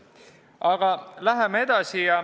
Aga läheme edasi.